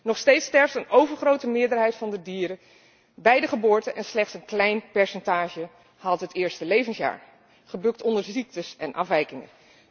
Nog steeds sterft een overgrote meerderheid van de dieren bij de geboorte en slechts een klein percentage haalt het eerste levensjaar, gebukt onder ziektes en afwijkingen.